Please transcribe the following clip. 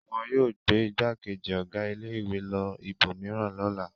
Wọn yóò gbé ìgbákejì ọ̀gá ilé-ìwé lọ ibòmíràn lọ́la.